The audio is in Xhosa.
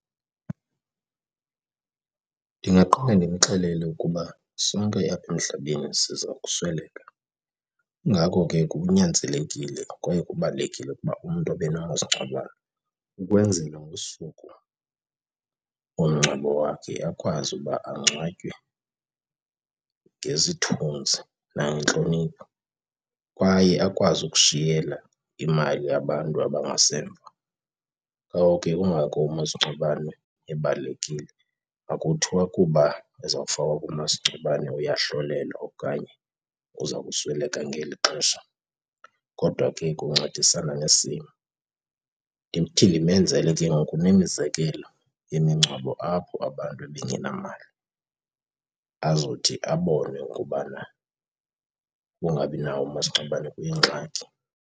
Ndingaqala ndimxelele ukuba sonke apha emhlabeni siza kusweleka, kungako ke kunyanzelekile kwaye kubalulekile ukuba umntu abe nawo umasingcwabane ukwenzela ngosuku lomngcwabo wakhe akwazi ukuba angcwatywe ngesithunzi nangentlonipho kwaye akwazi ukushiyela imali abantu abangasemva. Ngoko ke, kungako umasingcwabane ebalulekile. Akuthiwa kuba ezakufakwa kumasingcwabane uyahlolelwa okanye uza kusweleka ngeli xesha kodwa ke kuncedisana nesimo. Ndithi ndimenzele ke ngoku nemizekelo yemingcwabo apho abantu bengenamali azothi abone ukubana ukungabi nawo umasingcwabane kuyingxaki.